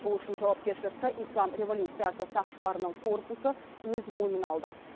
ол үшін жауапкершілікті ислам революциясы сақшыларының корпусы өз мойнына алды